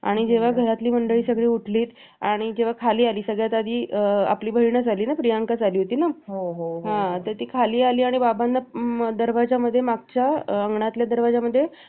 आणि जेव्हा घरातली सगळी मंडळी उठली आणि जेव्हा खाली आली सगळ्यात आधी आपली बहीणच आली ना प्रियंकाच आली होती ना ती खाली आली आणि बाबांना दरवाजा मध्ये मागच्या अंगणाच्या दरवाजामध्ये